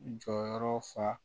Jɔyɔrɔ fa